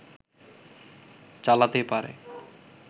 চালাতে পারে